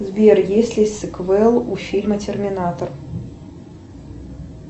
сбер есть ли сиквел у фильма терминатор